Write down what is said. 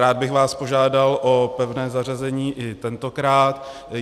Rád bych vás požádal o pevné zařazení i tentokrát.